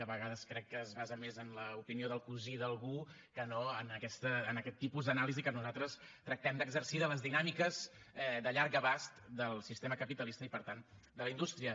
a vegades crec que es basa més en l’opinió del cosí d’algú que no en aquest tipus d’anàlisi que nosaltres tractem d’exercir de les dinàmiques de llarg abast del sistema capitalista i per tant de la indústria